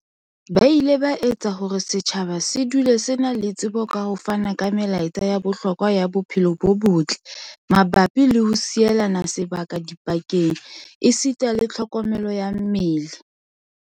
Ba ile ba etsa hore setjhaba se dule se na le tsebo ka ho fana ka melaetsa ya bohlokwa ya bophelo bo botle mabapi le ho sielana sebaka dipakeng esita le tlho komelo ya mmele.